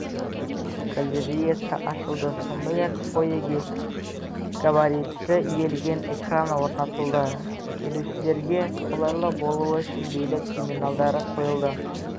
галереясы ашылды сондай-ақ фойеге габаритті иілген экран орнатылды келушілерге қолайлы болуы үшін билет терминалдары қойылды